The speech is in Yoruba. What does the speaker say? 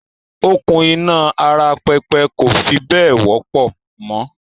“Okùn iná ara pẹpẹ kò fi bẹ́ẹ̀ wọ́pọ̀ mọ